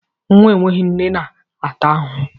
Nwa enweghị nne na-ata ahụhụ.